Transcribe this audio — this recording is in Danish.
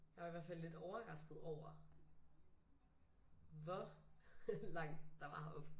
Jeg var i hvert fald lidt overrasket over hvor langt der var herop